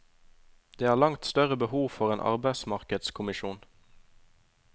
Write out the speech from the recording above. Det er langt større behov for en arbeidsmarkedskommisjon.